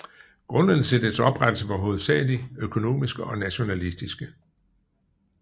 Grundene til dets oprettelse var hovedsagelig økonomiske og nationalistiske